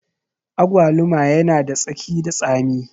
Agwaluma yana da tsaki da tsami